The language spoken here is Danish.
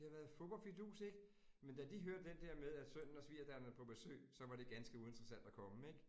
Det har været fup og fidus ik? Men da de hørte den der med, at sønnen og svigerdatteren er på besøg, så var det ganske uinteressant at komme ik